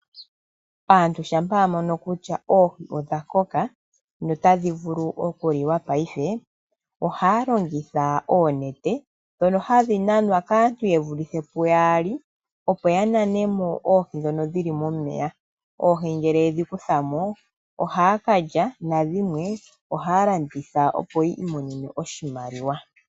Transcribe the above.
Aantu shampa yamono kutya oohi odhakoka na otadhivulu okuliwa paife, ohaya longitha oonete dhono hadhinanwa kaantu ye vulithe pu yaali opo yananemo oohi ndhono dhili momeya, oohi ngele yedhi kuthamo ohaya kalya, nadhimwe ohaya landitha opo yi imonene oshimaliwa.